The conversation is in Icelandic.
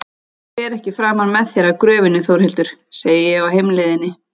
Ég fer ekki framar með þér að gröfinni Þórhildur, segi ég á heimleiðinni.